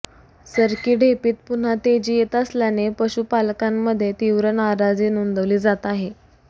सरकी ढेपीत पुन्हा तेजी येत असल्याने पशुपालकांमध्ये तीव्र नाराजी नोंदविली जात आहे